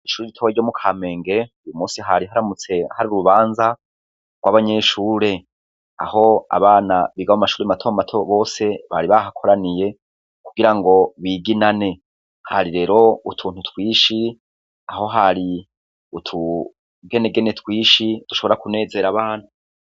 Kw'ishuri ritoya ryo mu Kampenge, uyu musi hari haramutse hari urubanza, rw'abanyeshure. Aho abana biga mashuri mato mato bose bari bahakoraniye, kugira ngo biginane. Hari rero utuntu twishi, aho hari utugenegene twishi dushobora kunezera abantu.